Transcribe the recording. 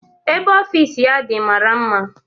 Ebe ọfịs ya dị mara mma